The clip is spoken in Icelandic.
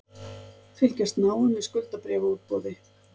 Fylgjast náið með skuldabréfaútboði